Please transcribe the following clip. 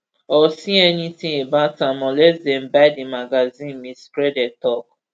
or see anything about am unless dem buy di magazine ms skrede tok